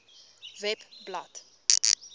webblad